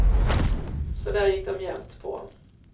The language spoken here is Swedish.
Så där gick de jämt på.